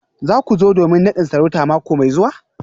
Za ku zo domin nadin sarauta mako mai zuwa?